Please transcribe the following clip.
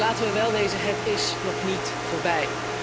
Want laten we wel wezen, het is nog niet voorbij.